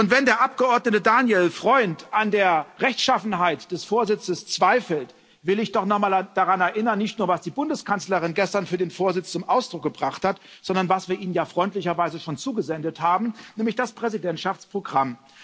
Wenn der Abgeordnete Daniel Freund an der Rechtschaffenheit des Vorsitzes zweifelt, will ich doch noch mal daran erinnern, nicht nur was die Bundeskanzlerin gestern für den Vorsitz zum Ausdruck gebracht hat, sondern was wir Ihnen ja freundlicherweise schon zugesandt haben, nämlich das Präsidentschaftsprogramm.